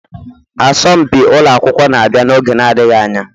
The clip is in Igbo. Asọmpi ụlọ akwụkwọ na-abịa n'oge adịghị anya.